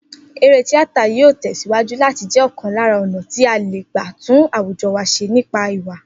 Eré tíátà yóò tè̩síwájú láti jé̩ ò̩kan lára ò̩nà tí a lè gbà tún àwùjo̩ wa s̩e nípa ìwà